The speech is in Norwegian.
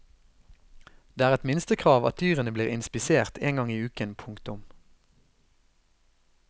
Det er et minstekrav at dyrene blir inspisert en gang i uken. punktum